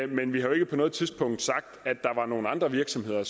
men vi har jo ikke på noget tidspunkt sagt at andre virksomheder